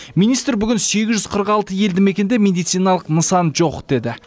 министр бүгін сегіз жүз қырық алты елді мекенде медициналық нысан жоқ деді